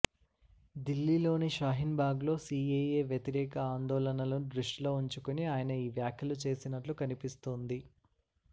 దిల్లీలోని షాహీన్బాగ్లో సీఏఏ వ్యతిరేక ఆందోళనలను దృష్టిలో ఉంచుకొని ఆయన ఈ వ్యాఖ్యలు చేసినట్లు కనిపిస్తోంది